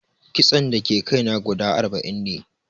Kitson da ke kai na guda arba'in ne